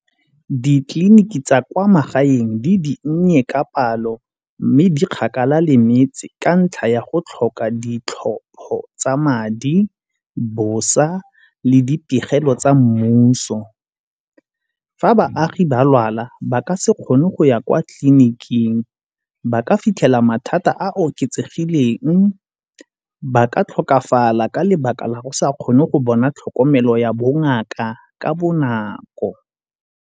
Ditleliniki tsa kwa magaeng di dinnye ka palo mme di kgakala le metse ka ntlha ya go tlhoka ditlhopho tsa madi, bosa le ditirelo tsa mmuso. Fa baagi ba lwala ba ka se kgone go ya kwa tleliniking, ba ka fitlhela mathata a oketsegileng, ba ka tlhokafala ka lebaka la go sa kgone go bona tlhokomelo ya bongaka ka bonako.